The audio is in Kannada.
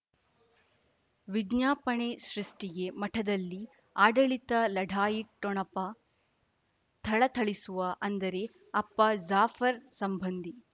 ವಿಜ್ಞಾಪನೆ ಸೃಷ್ಟಿಗೆ ಮಠದಲ್ಲಿ ಆಡಳಿತ ಲಢಾಯಿ ಠೊಣಪ ಥಳಥಳಿಸುವ ಅಂದರೆ ಅಪ್ಪ ಜಾಫರ್ ಸಂಬಂಧಿ